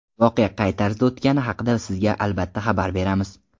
Voqea qay tarzda o‘tgani haqida sizga albatta xabar beramiz!